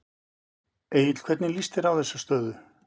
Egill hvernig líst þér á þessa stöðu?